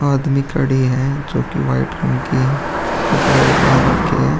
आदमी खड़े हैं जोकि व्हाइट रंग के कपड़े पहन रखे हैं।